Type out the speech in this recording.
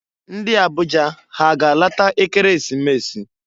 Ndị Abuja ha a ga-alata Ekeresimesi?